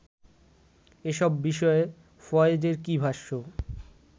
এসব বিষয়ে ফয়েজের কী ভাষ্য